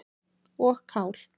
og kál.